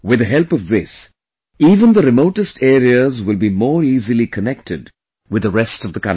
With the help of this, even the remotest areas will be more easily connected with the rest of the country